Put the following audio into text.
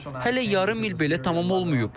Hələ yarım il belə tamam olmayıb.